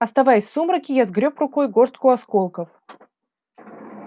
оставаясь в сумраке я сгрёб рукой горстку осколков